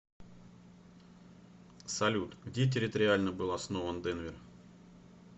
салют где территориально был основан денвер